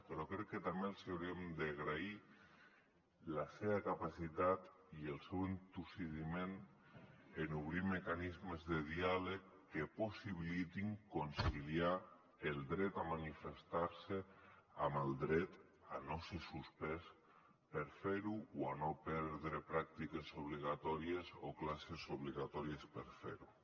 però crec que també els hauríem d’agrair la seva capacitat i el seu entossudiment en obrir mecanismes de diàleg que possibilitin conciliar el dret a manifestar se amb el dret a no ser suspès per fer ho o a no perdre pràctiques obligatòries o classes obligatòries per fer ho